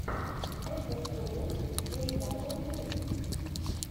этостоун эйдабл ю